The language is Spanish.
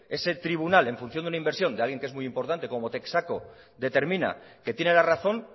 ese tribunal en función de una inversión de alguien que es muy importante como texaco determina que tiene la razón